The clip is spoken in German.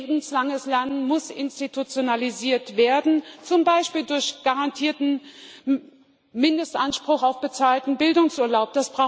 Lebenslanges Lernen muss institutionalisiert werden, zum Beispiel durch einen garantierten Mindestanspruch auf bezahlten Bildungsurlaub.